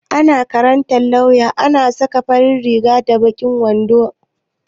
A makarantar lauya ana saka farin riga da baƙin wando